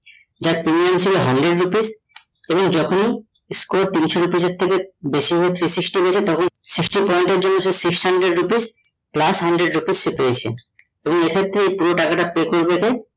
যার pay হয়েছে hundred rupees এবং যখন score তিনশো rupees থেকে বেশি হয়ে three sixty হয়েছে তখন sixty point এর জন্য সে six hundred rupees plus hundred rupees সে পেয়েছে এবং এই ক্ষেত্রে ও পুরো টাকা টা pay করবে